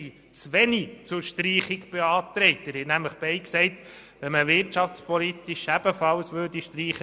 Beide Vertreter haben nämlich gesagt, sie würden mithelfen, wenn man ebenfalls «wirtschaftspolitisch» streicht.